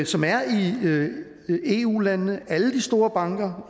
som er i eu landene alle de store banker